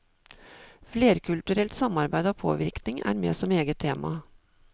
Flerkulturelt samarbeid og påvirkning er med som eget tema.